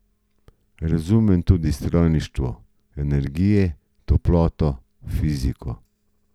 Razumem tudi strojništvo, energije, toploto, fiziko.